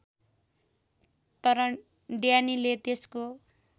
तर ड्यानीले त्यसको